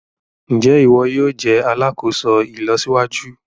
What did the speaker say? Njé iwọ yóò jé alàkóso ìlọsíwájú?